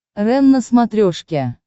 рен на смотрешке